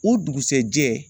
O dugusɛjɛ